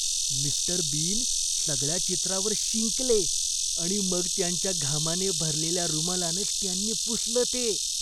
Mister Bean सगळ्या चित्रावर शिंकले आणि मग त्यांच्या घामाने भरलेल्या रुमालानेच त्यांनी पुसलं ते.